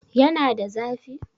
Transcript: Yana da zafi?